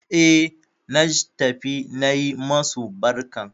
E, naj tafi na yi masu barkan.